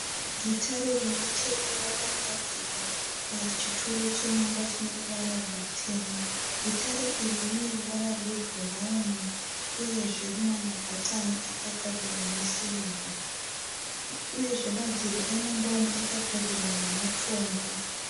Gitare rimwechete rakagadzikwa pachituro chemumba chineruvara rwutema. Gitare iri rineruvara rwebhurauni uyezve rinemabhatani akagadzIrwa nesirivha uyezve madziro emumba umu akagadzirwa nematombo.